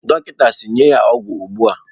Dọkịta si, nye ya ọgwụ ugbu a!